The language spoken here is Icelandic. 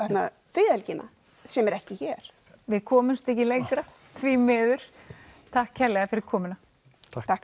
friðhelgina sem er ekki hér við komumst ekki lengra því miður takk fyrir komuna takk